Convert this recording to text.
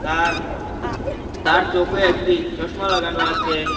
তার তার চোখে একটি চশমা লাগানো আসে।